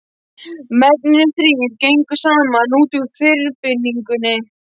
Mennirnir þrír gengu saman út úr þyrpingunni.